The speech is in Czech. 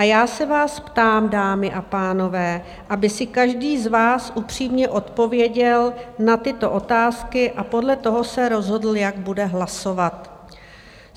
A já se vás ptám, dámy a pánové, aby si každý z vás upřímně odpověděl na tyto otázky a podle toho se rozhodl, jak bude hlasovat.